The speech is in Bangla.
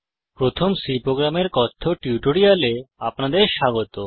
প্রথম C প্রোগ্রামের কথ্য টিউটোরিয়ালে আপনাদের স্বাগত